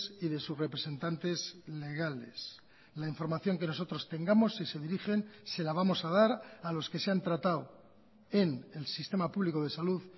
y de sus representantes legales la información que nosotros tengamos si se dirigen se la vamos a dar a los que se han tratado en el sistema público de salud